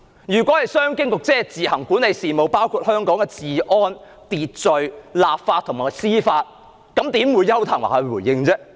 如果香港自行管理的事務包括治安、秩序、立法和司法，為何是邱騰華回應呢？